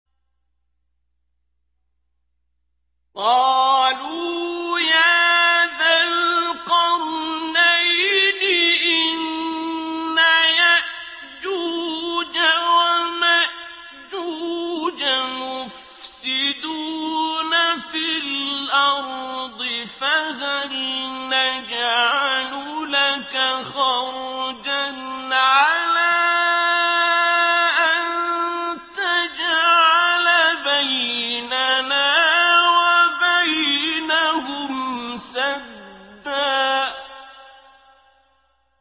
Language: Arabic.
قَالُوا يَا ذَا الْقَرْنَيْنِ إِنَّ يَأْجُوجَ وَمَأْجُوجَ مُفْسِدُونَ فِي الْأَرْضِ فَهَلْ نَجْعَلُ لَكَ خَرْجًا عَلَىٰ أَن تَجْعَلَ بَيْنَنَا وَبَيْنَهُمْ سَدًّا